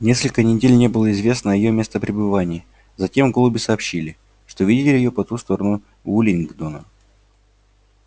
несколько недель не было известно о её местопребывании затем голуби сообщили что видели её по ту сторону уиллингдона